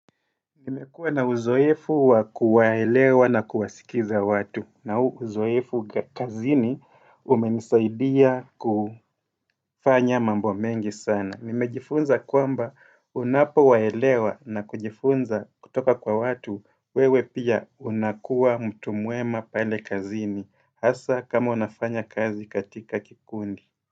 Nimekuwa na uzoefu wa kuwaelewa na kuwasikiza watu na uzoefu kazini umenisaidia kufanya mambo mengi sana. Nimejifunza kwamba unapowaelewa na kujifunza kutoka kwa watu, wewe pia unakuwa mtu mwema pale kazini. Hasa kama unafanya kazi katika kikundi.